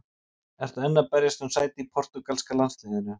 Ertu enn að berjast um sæti í portúgalska landsliðinu?